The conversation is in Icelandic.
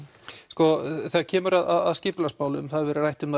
sko þegar kemur að skipulagsmálum það hefur verið rætt um